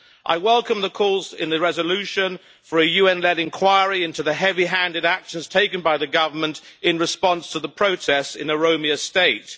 I welcome the calls in the resolution for a UN led inquiry into the heavy handed actions taken by the government in response to the protests in Oromia state.